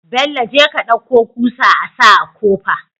Bello jeka ka ɗauko kusa asa kofa